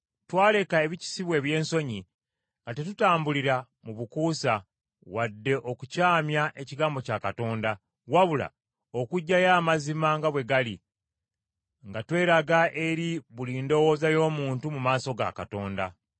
Twaleka ebikisibwa eby’ensonyi, nga tetutambulira mu bukuusa, wadde okukyamya ekigambo kya Katonda, wabula okuggyayo amazima nga bwe gali, nga tweraga eri buli ndowooza y’omuntu mu maaso ga Katonda.